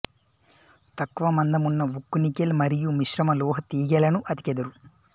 తక్కువ మందమున్న ఉక్కు నికెల్ మరియుమిశ్రమ లోహ తీగెలను అతికెదరు